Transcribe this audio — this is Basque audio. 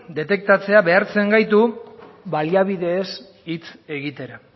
detektatzea behartzen gaitu baliabideez hitz egitera